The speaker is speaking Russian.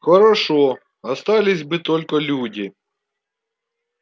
хорошо остались бы только люди